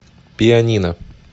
пианино